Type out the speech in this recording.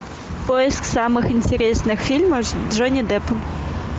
поиск самых интересных фильмов с джонни деппом